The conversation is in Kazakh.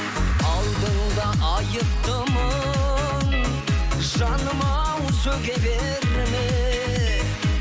алдыңда айыптымын жаным ау сөге берме